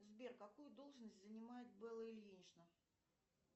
сбер какую должность занимает белла ильинична